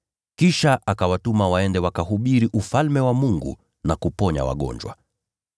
kisha akawatuma waende wakahubiri Ufalme wa Mungu na kuponya wagonjwa.